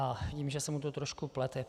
A vidím, že se mu to trošku plete.